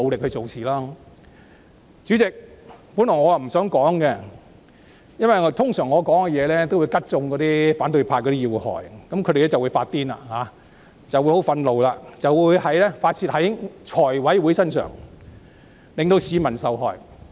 代理主席，我本來不想發言，因為我的話往往會刺中反對派的要害，他們會因此"發癲"、怒不可遏，進而在財委會上發泄，令市民受害。